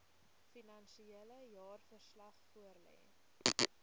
finansiële jaarverslag voorlê